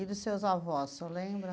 E dos seus avós, o senhor lembra?